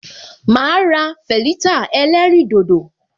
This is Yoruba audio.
Ma ra veleta ẹlẹ́rìn dodo